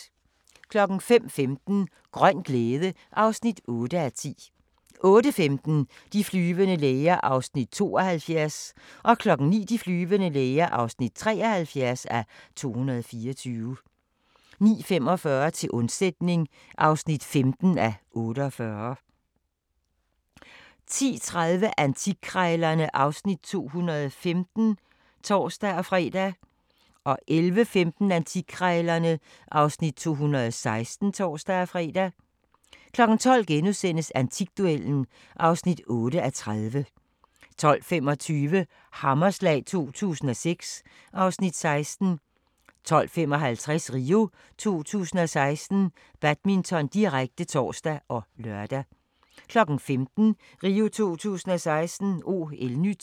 05:15: Grøn glæde (8:10) 08:15: De flyvende læger (72:224) 09:00: De flyvende læger (73:224) 09:45: Til undsætning (15:48) 10:30: Antikkrejlerne (Afs. 215)(tor-fre) 11:15: Antikkrejlerne (Afs. 216)(tor-fre) 12:00: Antikduellen (8:30)* 12:25: Hammerslag 2006 (Afs. 16) 12:55: RIO 2016: Badminton, direkte (tor og lør) 15:00: RIO 2016: OL-NYT